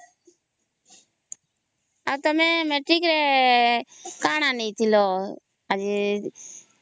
ଆଉ ତମେ ମେଟ୍ରିକ ରେ କଣ ଆଣିଥିଲ